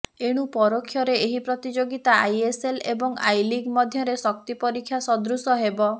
ଏଣୁ ପରୋକ୍ଷରେ ଏହି ପ୍ରତିଯୋଗିତା ଆଇଏସ୍ଏଲ୍ ଏବଂ ଆଇଲିଗ୍ ମଧ୍ୟରେ ଶକ୍ତିପରୀକ୍ଷା ସଦୃଶ ହେବ